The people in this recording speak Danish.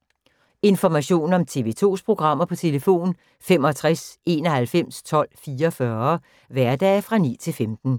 Information om TV 2's programmer: 65 91 12 44, hverdage 9-15.